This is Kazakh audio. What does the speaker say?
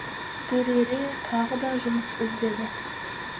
дүрере тағы да жұмыс іздеді